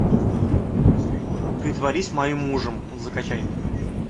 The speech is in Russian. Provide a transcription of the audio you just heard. притворись моим мужем закачай